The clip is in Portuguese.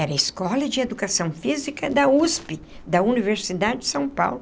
Era a Escola de Educação Física da USP, da Universidade de São Paulo.